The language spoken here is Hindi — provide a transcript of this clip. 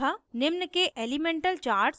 निम्न के elemental charts